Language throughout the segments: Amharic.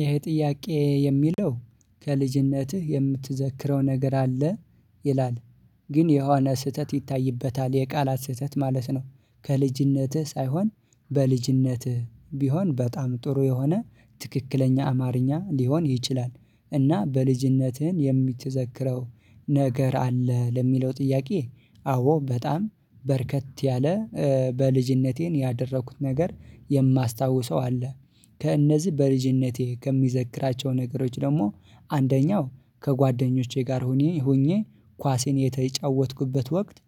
ይሄ ጥያቄ የሚለው ከልጅነትህ የምትዘክረው ነገር አለ? ይላል ግን የሆነ ስህተት ይታይበታል የቃላት ስህተት ማለት ነው ከልጅነትህ ሳይሆን በልጅነትህ ቢሆን በጣም ጥሩ የሆነ ትክክለኛ አማርኛ ሊሆን ይችላል እና በልጅነትህን የምትዘክረው ነገር አለ? ለሚለው ጥያቄ አዎ በጣም በርከት ያለ በልጅነቴ ያደረኩት ነገር የማስታውሰው አለ ከእነዚህ በልጅነቴ ከምዘክራቸው ነገሮች ደግሞ አንደኛው ከጓደኞቼ ጋር ሆኒ ሆኜ ኳሴን የተጫወትኩበት ወቅት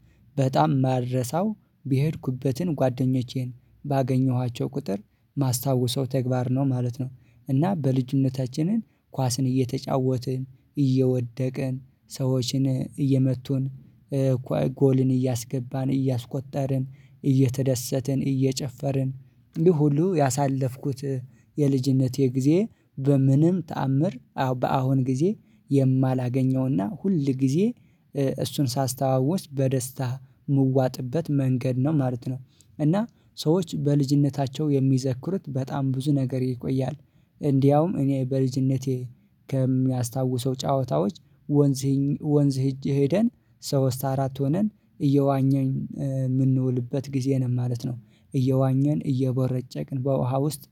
በጣም ማረሳው በሄድኩበትን ጓደኞቼን ባገኘኋቸው ቁጥር ማስታወሰው ተግባር ነው ማለት ነው እና በልጅነታችንን ኳስን እየተጫወትን እየወደቅን ሰዎችን እየመቱን ጎልን እያስገባን እያስቆጠርን እየተደሰትን እየጨፈርን እንዲህ ሁሉ ያሳለፍኩት የልጅነቴ ጊዜ በምንም ተአምር በአሁን ጊዜ የማላገኘውና ሁል ጊዜ እሱን ሳስታውስ በደስታ ምዋጥበት መንገድ ነው ማለት ነው እና ሰዎች በልጅነታቸው የሚዘክሩት በጣም ብዙ ነገር ይቆያል እንዲያውም እኔ በልጅነቴ ከሚያስታውሰው ጨዋታዎች ወንዜን ወንዝ ወንዝ ሄደን ሶስት አራት ሆነን እየዋኘን የምንውልበት ጊዜ ነው ማለት ነው እየዋኘን እየቦረጨቅን በውሃ ውስጥ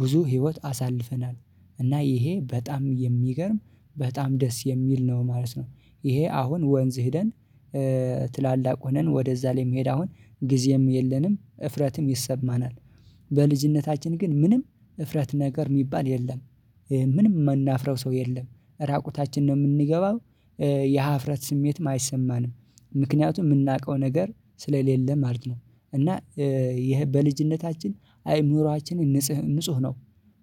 ብዙ ህይወት አሳልፈናል እና ይሄ በጣም የሚገርም በጣም ደስ የሚል ነው ማለት ነው ይሄ አሁን ወንዝ ሄደን ትላልቅ ሆነን ወደዛ ላይ መሄድ አሁን ጊዜም የለንም እፍረትም ይሰማናል በልጅነታችን ግን ምንም እፍረት ነገር የሚባል የለም ምንም ምናፍረው ሰው የለም ራቁታችን ነው ምንገባም የሀፍረት ስሜትም አይሰማንም ምክኛቱም የምናውቀው ነገር ስለሌለ ማለት ነው እና ይሄ በልጅነታችን አይምሮአችን ንጹህ ንጹህ ነው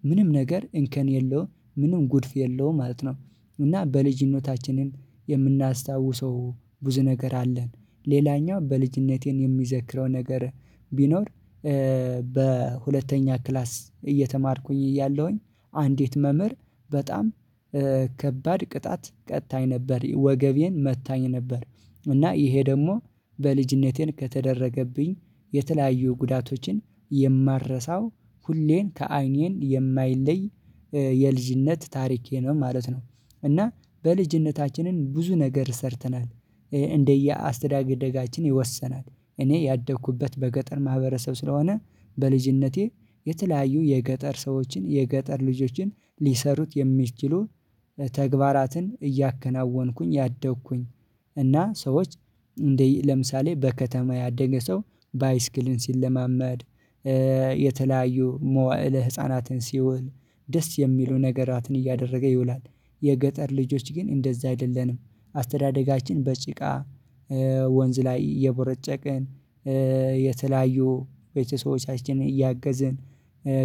ምንም ነገር እንከን የለውም ምንም ጉድፍ የለውም ማለት ነው እና በልጅነታችንን የምናስታውሰው ብዙ ነገር አለን ሌላኛው በልጅነቴ እኔ የሚዘክረው ነገር ቢኖር በሁለተኛ ክላስ እየተማርኩኝ እያለሁኝ አንዲት መምህር በጣም ከባድ ቅጣት ቀጥታኝ ነበር ወገቤን መታኝ ነበር እና ይሄ ደግሞ በልጅነቴን ከተደረገብኝ የተለያዩ ጉዳቶችን የማረሳው ሁሌን ከአይኔን የማይለይ የልጅነት ታሪኬ ነው ማለት ነው እና በልጅነታችንን ብዙ ነገር ሰርተናል አስተዳደጋችን ይወሰናል እኔ ያደኩበት በገጠር ማህበረሰብ ስለሆነ በልጅነቴ የተለያዩ የገጠር ሰዎችን የገጠር ልጆችን ሊሠሩት የሚችሉ ተግባራትን እያከናወንኩኝ ያደግኩኝ እና ሰዎች እንደይ ለምሳሌ በከተማ ያደገ ሰው ባይስኪልን ሲለማመድ የተለያዩ መዋዕለ ህፃናትን ሲውል ደስ የሚሉ ነገራትን እያደረገ ይውላል የገጠር ልጆች ግን እንደዛ አይደለንም አስተዳደጋችን በጭቃ ወንዝ ላይ እየቦረጨቅን የተላዩ ቤተሰቦቻችን እያገዝን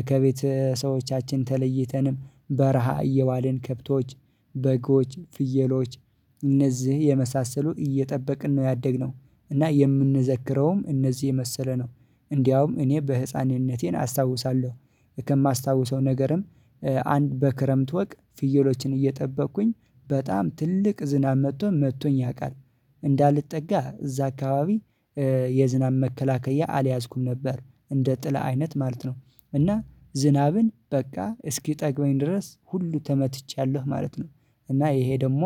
ከቤተ ሰዎቻችን ተለይተንም በረሃ እየዋልን ከብቶች በጎች ፍየሎች እነዚህ የመሳሰሉ እየጠበቅን ነው ያደግነው እና የምንዘክረውም እነዚህ የመሰለ ነው እንደውም እኔ በህፃንነቴን አስታውሳለሁ ከማስታውሰው ነገርም አንድ በክረምት ወቅ ፍየሎችን እየጠበቅኩኝ በጣም ትልቅ ዝናብ መጥቶ መጥቶኝ ያውቃል እንዳልጠጋ እዛ አካባቢ የዝናብ መከላከያ አልያዝኩም ነበር እንደ ጥላ አይነት ማለት ነው እና ዝናብን በቃ እስኪጠግበኝ ድረስ ሁሉ ተመትቻለሁ ማለት ነው እና ይሄ ደግሞ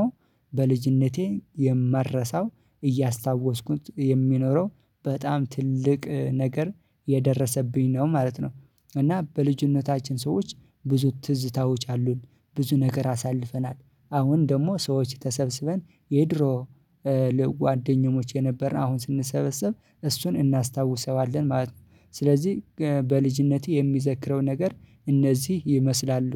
በልጅነቴ የማልረሳው እያስታወስኩት የሚኖረው በጣም ትልቅ ነገር የደረሰብኝ ነው ማለት ነው እና በልጅነታችን ሰዎች ብዙ ትዝታዎች አሉን ብዙ ነገር አሳልፈናል አሁን ደግሞ ሰዎች ተሰብስበን የድሮ ጓደኞች የነበርን አሁን ስንሰበሰብ እሱን እናስታውሰዋለን ማለት ነው ስለዚህ በልጅነቴ የሚዘክረው ነገር እነዚህ ይመስላሉ